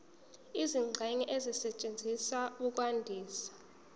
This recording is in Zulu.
izingxenye ezisetshenziswa ukwandisa